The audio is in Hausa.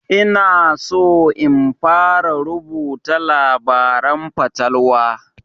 Ina so in fara rubuta labaren fatalwa